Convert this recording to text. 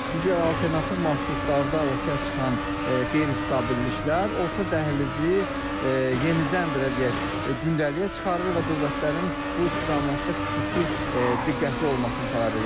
Digər alternativ marşrutlarda ortaya çıxan qeyri-stabilliklər orta dəhlizi yenidən belə deyək, gündəliyə çıxarır və dövlətlərin bu istiqamətdə xüsusi diqqətli olmasını tələb edir.